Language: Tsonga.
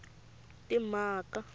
timhaka